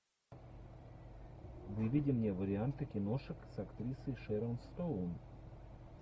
выведи мне варианты киношек с актрисой шерон стоун